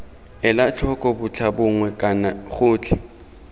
ela tlhoko botlhabongwe kana gotlhe